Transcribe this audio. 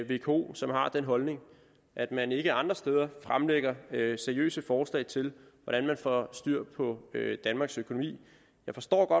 vko som har den holdning og at man ikke andre steder fremlægger seriøse forslag til hvordan man får styr på danmarks økonomi jeg forstår